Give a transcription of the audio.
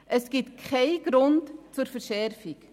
Es gibt keinen Grund zur Verschärfung.